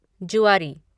जुआरी